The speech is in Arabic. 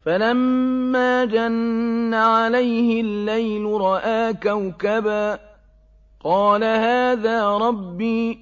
فَلَمَّا جَنَّ عَلَيْهِ اللَّيْلُ رَأَىٰ كَوْكَبًا ۖ قَالَ هَٰذَا رَبِّي ۖ